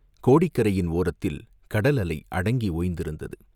கோடிக்கரையின் ஓரத்தில் கடல் அலை அடங்கி ஓய்ந்திருந்தது.